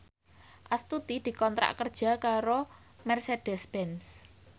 Astuti dikontrak kerja karo Mercedez Benz